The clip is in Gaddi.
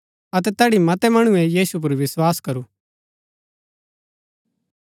अतै तैड़ी मतै मणुऐ यीशु पुर विस्वास करू